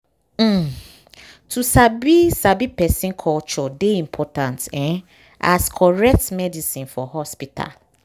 um to sabi sabi person culture dey important um as correct medicine for hospital.